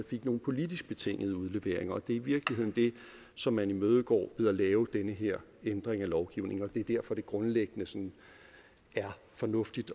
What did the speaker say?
fik nogle politisk betingede udleveringer det er i virkeligheden det som man imødegår ved at lave den her ændring af lovgivningen og det er derfor det grundlæggende er fornuftigt